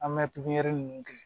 An bɛ pipiniyɛri ninnu kɛ